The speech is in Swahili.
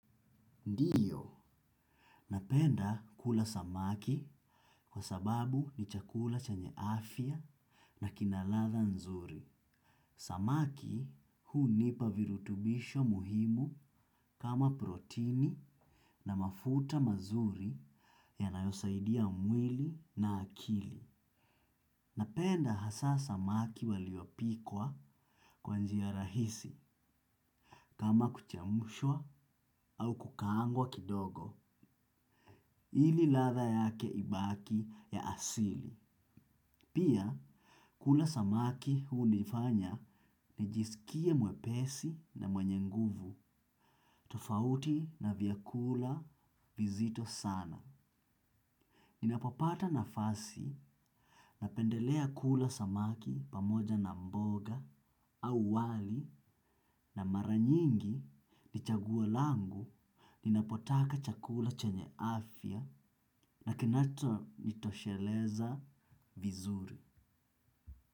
Ndio, napenda kula samaki kwa sababu ni chakula chanye afya na kinaladha nzuri. Samaki hunipa virutubisho muhimu kama protini na mafuta mazuri yanayosaidia mwili na akili. Napenda hasaa samaki waliopikwa kwa njia rahisi kama kuchemshwa au kukaangwa kidogo. Ili ladha yake ibaki ya asili. Pia kula samaki hunifanya nijisikie mwepesi na mwenye nguvu. Tofauti na vyakula vizito sana. Ninapopata nafasi, napendelea kula samaki pamoja na mboga, au wali, na mara nyingi, ni chaguo langu, ninapotaka chakula chenye afya, na kinachonitosheleza vizuri.